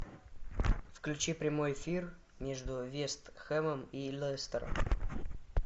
включи прямой эфир между вест хэмом и лестером